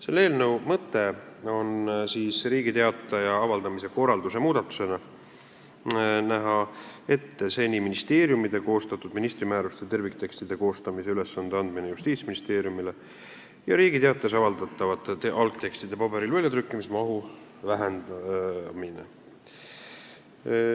Selle eelnõu mõte on näha Riigi Teatajas avaldamise korralduse muudatusena ette, et seni ministeeriumide koostatud ministri määruste terviktekstide koostamise ülesanne antakse Justiitsministeeriumile ja Riigi Teatajas avaldatavate algtekstide paberil trükkimise mahtu vähendatakse.